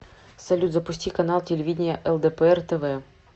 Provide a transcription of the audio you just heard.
салют запусти канал телевидения лдпр тв